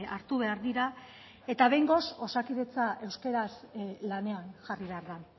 hartu behar dira eta behingoz osakidetza euskaraz lanean jarri behar da